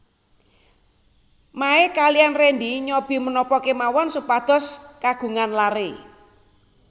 Mae kaliyan Rendy nyobi menapa kemawon supados kagungan laré